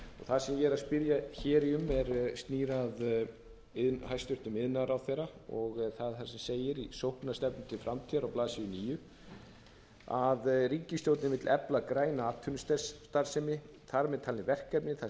það sem ég er að spyrja um snýr að hæstvirtur iðnaðarráðherra og það er það sem segir í sóknarstefnu til framtíðar á blaðsíðu níu að ríkisstjórnin vill efla græna atvinnustarfsemi þar með talin verkefni þar sem hrein